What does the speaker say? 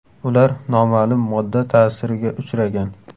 Ular noma’lum modda ta’siriga uchragan.